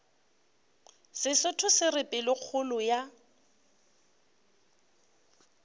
sesotho se re pelokgolo ya